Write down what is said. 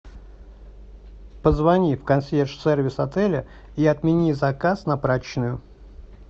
позвони в консьерж сервис отеля и отмени заказ на прачечную